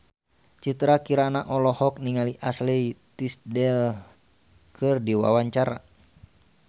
Citra Kirana olohok ningali Ashley Tisdale keur diwawancara